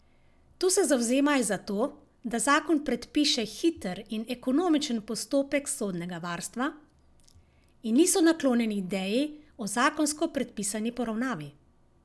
Tu se zavzemajo za to, da zakon predpiše hiter in ekonomičen postopek sodnega varstva, in niso naklonjeni ideji o zakonsko predpisani poravnavi.